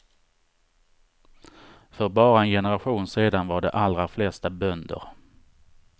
För bara en generation sedan var de allra flesta bönder.